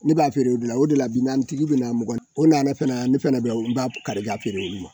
Ne b'a feere o de la bi naani tigi bɛ na o nana fan ne fana n b'a kari k'a feere olu ma.